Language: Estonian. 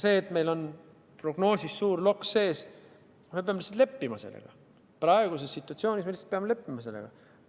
See, et meil on prognoosis suur loks sees –me peame lihtsalt leppima sellega, praeguses situatsioonis me lihtsalt peame leppima sellega.